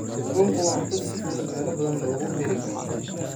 Kalluunku waa cunto si fudud meelo badan looga heli karo.